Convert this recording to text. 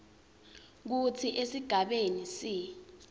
kutsi esigabeni c